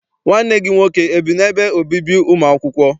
Nwanne gị nwoke ebi n'ebe obibi ụmụ akwụkwọ?